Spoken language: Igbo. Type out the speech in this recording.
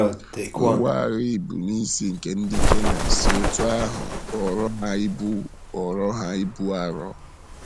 Ngwá agha ị bụ́ n'isi nke ndị Kenan si otú ahụ ghọọrọ ha ibu ghọọrọ ha ibu arọ.